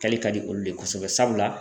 Kɛli ka di olu de ye kosɛbɛ sabula.